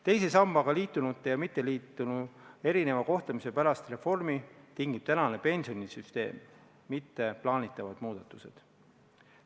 Teise sambaga liitunute ja mitteliitunute erineva kohtlemise pärast reformi tingib tänane pensionisüsteem, mitte plaanitavad muudatused.